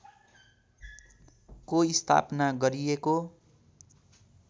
को स्थापना गरिएको